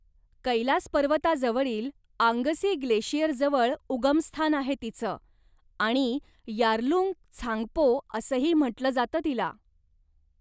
कैलास पर्वताजवळील आंगसी ग्लेशियरजवळ उगमस्थान आहे तिचं, आणि यारलुंग त्सांगपो असंही म्हटलं जातं तिला.